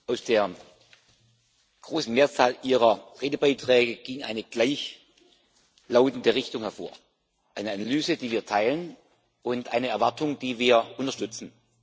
Aus der großen Mehrzahl Ihrer Redebeiträge ging eine gleichlautende Richtung hervor eine Analyse, die wir teilen, und eine Erwartung, die wir unterstützen.